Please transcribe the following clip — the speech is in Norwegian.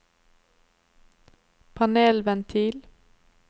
panelventil